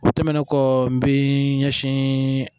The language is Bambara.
O tɛmɛnen kɔ n bɛ ɲɛsin